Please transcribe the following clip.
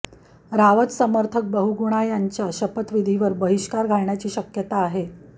रावत समर्थक बहुगुणा यांच्या शपथविधीवर बहिष्कार घालण्याची शक्यता आहे